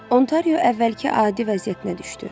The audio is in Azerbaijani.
Ontario əvvəlki adi vəziyyətinə düşdü.